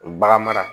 O bagan mara